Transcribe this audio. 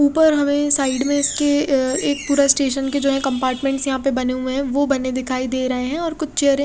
उपर हमे साइड में इसके अ एक पूरा स्टेशन के जो है कम्पाटमेंट्स यहाँ पे बने हुए है वो बने दिखाई देरे है और कुछ चेरे --